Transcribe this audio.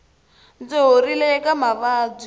ndzi horile eka mavabyi